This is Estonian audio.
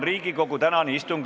Riigikogu tänane istung on lõppenud.